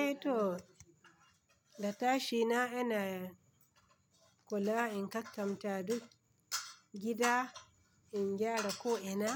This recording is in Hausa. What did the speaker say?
Eh to da tashi na, ina kula in kattanta duk gida, in gyara ko ina,